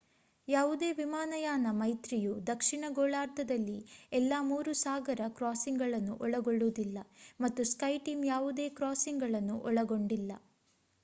ಯಾವುದೇ ವಿಮಾನಯಾನ ಮೈತ್ರಿಯು ದಕ್ಷಿಣ ಗೋಳಾರ್ಧದಲ್ಲಿ ಎಲ್ಲಾ ಮೂರು ಸಾಗರ ಕ್ರಾಸಿಂಗ್‌ಗಳನ್ನು ಒಳಗೊಳ್ಳುವುದಿಲ್ಲ ಮತ್ತು ಸ್ಕೈಟೀಮ್ ಯಾವುದೇ ಕ್ರಾಸಿಂಗ್‌ಗಳನ್ನು ಒಳಗೊಂಡಿಲ್ಲ